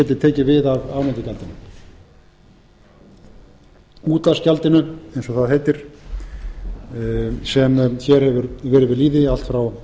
geti tekið við af afnotagjaldinu útvarpsgjaldinu eins og það heitir sem hér hefur verið við lýði frá